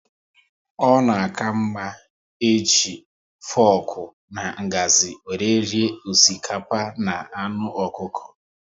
Ọ na aka mma eji foku na ngazi wéré rie osikapa na anụ ọkụkọ